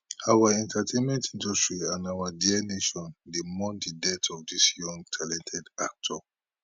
our entertainment industry and our dear nation dey mourn di death of dis young talented actor